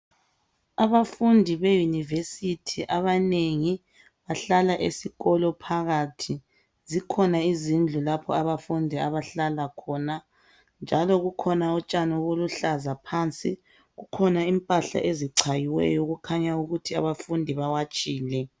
Abafundi yeyunivesithi abanengi bahlala esikolo phakathi. Zikhona izindlu lapho abafundi abahlala khona. Njalo kukhona utshani oluluhlaza phansi. Kukhona imphanhla ezicayiweyo okukhanya ukuthi abafundi bawatshile.